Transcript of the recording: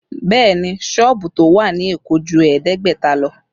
Bẹẹ ni, sọ́ọ̀bù tó wà ní Èkó ju ẹ̀ẹ́dẹ́gbẹ̀ta lọ